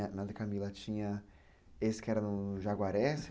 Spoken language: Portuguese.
A Madre Camila tinha esse que era no Jaguaré?